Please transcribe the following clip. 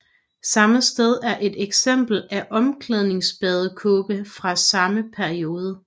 Samme sted er et eksemplar af omklædningsbadekåbe fra samme periode